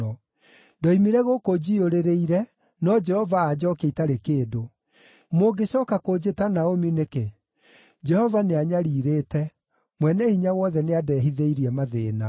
Ndoimire gũkũ njiyũrĩrĩire, no Jehova anjookia itarĩ kĩndũ. Mũngĩcooka kũnjĩta Naomi nĩkĩ? Jehova nĩanyariirĩte; Mwene-Hinya-Wothe nĩandehithĩirie mathĩĩna.”